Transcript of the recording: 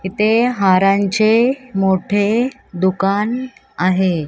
इथे हारांचे मोठे दुकान आहे.